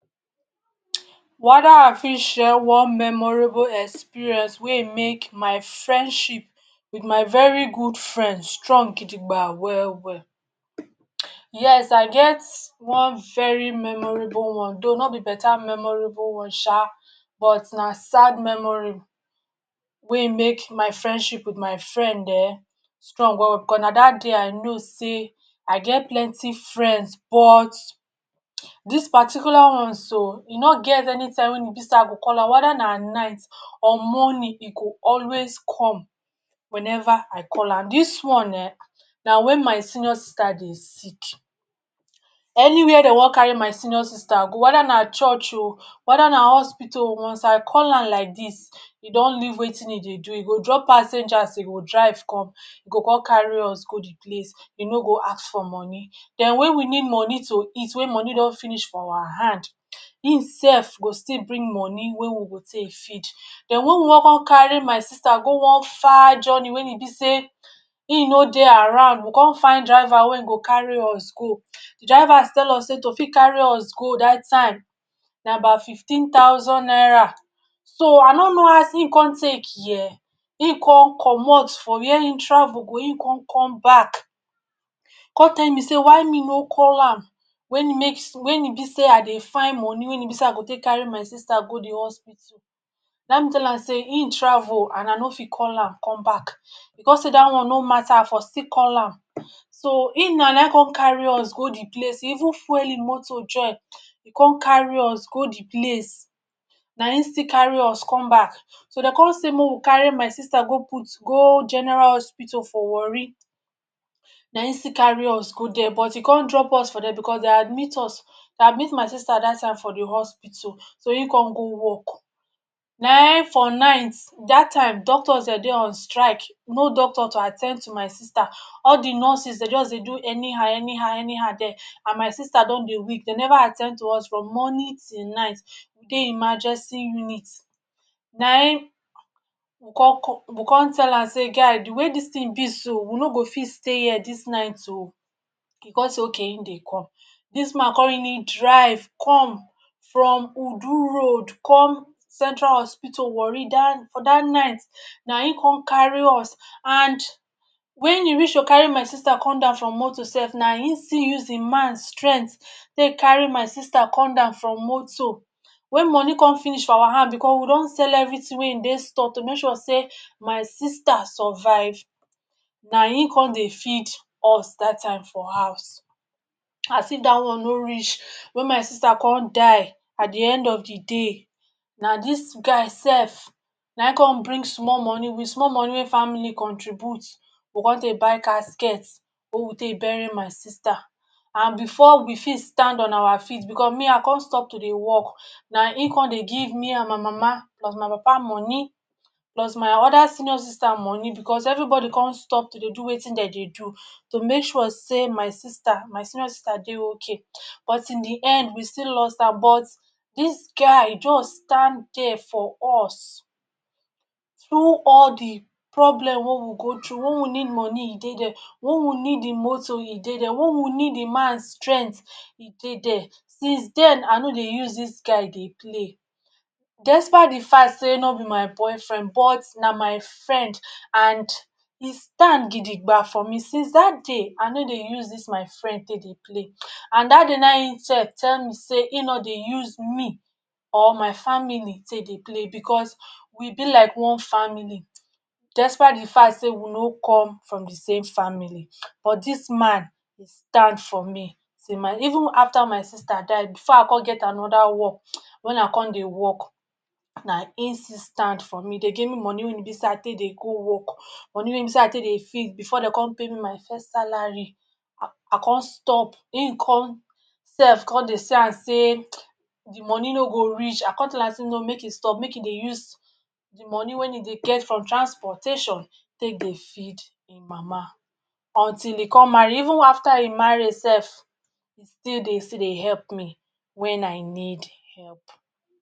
Whether I fit share one memorable experience wey make my friendship with my very good friend strong gidigba well-well. Yes! I get one very memorable one. Though no be better memorable one sha, but na sad memory wey make my friendship with my friend um strong well-well because na that day I know sey I get plenty friends but this particular one so, e no get any time wen e be sey I go call am whether na night or morning e go always come whenever I call am. Dis one[um]na when my senior sister dey sick. Anywhere de wan carry my senior sister go, whether na church o, whether na hospital o, once I call am like dis, e don leave wetin e dey do, e go drop passengers, e go drive come, e go come carry us go the place, e no go ask for money. Then when we need money to eat when money don finish for awa hand, im sef go still bring money wey we go take feed. Then when we wan come carry my sister go one far journey wen e be sey im no dey around we come find driver wey go carry us go, drivers tell us sey to fit carry us go that time na about fifteen thousand naira. So I no know as im come take hear, im come comot from where e travel go im come come back come tell me say why me no call am wey make wey e be sey I dey find money wey e be sey I go take carry my sister go the hospital. Nai me tell am sey im travel and I no fit call am come back. E come sey that one no mata, I for still call am. So im na, naim come carry us go the place, e even fuel e moto join. E come carry us go the place. Na im still carry us come back. So de come sey mey we carry my sister go put go General Hospital for Warri. Na im still carry us go there, but e come drop us for there because de admit us de admit my sister that time for the hospital, so im come go work. Naim for night, that time doctors de dey on strike. No doctor to at ten d to my sister, all the nurses de just dey do anyhow-anyhow-anyhow there and my sister don dey weak, de never at ten d to us from morning till night, we dey emergency unit. Naim we come we come tell am sey ‘guy, the way dis thing be so, we no go fit stay here dis night o’. E come say okay im dey come. Dis man come really drive come from Udu Road come Central Hospital, Warri that for that night. Na im come carry us and when e reach to carry my sister come down from moto sef, na im still use im man strength take carry my sister come down from moto. When money come finish for awa hand because we don sell everything wey ein dey store to make sure sey my sister survive, na im come dey feed us that time for house. As if that one no reach, when my sister come die, at the end of the day, na dis guy sef naim come bring small money with small money wey family contribute, we come take buy casket wey we take bury my sister. And before we fit stand on awa feet because me I come stop to dey work, na im come dey give me and my mama plus my papa money, plus my other senior sister money because everybody come stop to dey do wetin de dey do to make sure sey my sister my senior sister dey okay, but in the end we still lost her. But dis guy just stand there for us through all the problem wey we go through. When we need money, e dey there. When we need im moto, e dey there. When we need im man strength, e dey there. Since then, I no dey use dis guy dey play. Despite the fact sey no be my boyfriend, but na my friend and e stand gidigba for me. Since that day, I no dey use dis my friend take dey play. And that day na im sef tell me sey im no dey use me or my family take dey play, because we be like one family despite the fact sey we no come from the same family. But dis man e stand for me till my even after my sister die before I come get another work um wey I come dey work, na im still stand for me. E dey give me money wey e be sey I take dey go work, money wey e be sey I take dey feed before de come pay me my first salary, I come stop. Im come sef come dey see am sey the money no go reach, I come tell am sey no make e stop, make e dey use the money wey e dey get from transportation take dey feed im mama until im come marry. Even after e marry sef, e still dey still dey help me when I need help.